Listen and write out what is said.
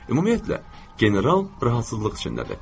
Ümumiyyətlə, general rahatsızlıq içindədir.